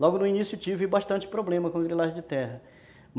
Logo no início tive bastante problema com grilagem de terra.